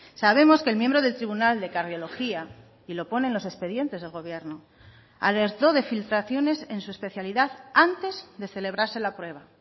sabemos que el miembro del tribunal de cardiología y lo pone en los expedientes del gobierno alertó de filtraciones en su especialidad antes de celebrarse la prueba